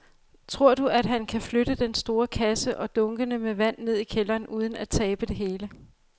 Tror du, at han kan flytte den store kasse og dunkene med vand ned i kælderen uden at tabe det hele?